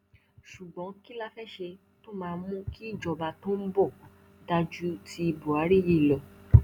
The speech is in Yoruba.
ṣùgbọn kí la fẹẹ ṣe tó máa mú kí ìjọba tó ń bọ dáa ju ti buhari yìí lọ